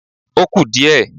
Ó kù díẹ̀